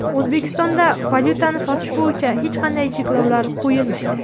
O‘zbekistonda valyutani sotish bo‘yicha hech qanday cheklovlar qo‘yilmaydi.